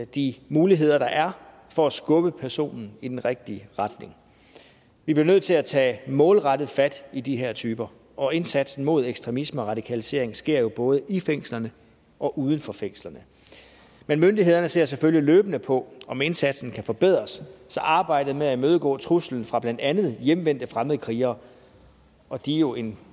de muligheder der er for at skubbe personen i den rigtige retning vi bliver nødt til at tage målrettet fat i de her typer og indsatsen mod ekstremisme og radikalisering sker jo både i fængslerne og uden for fængslerne men myndighederne ser selvfølgelig løbende på om indsatsen kan forbedres så arbejdet med at imødegå truslen fra blandt andet hjemvendte fremmedkrigere og de er jo en